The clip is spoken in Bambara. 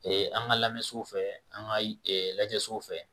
an ka lamɛnso fɛ an ka lajɛsow fɛ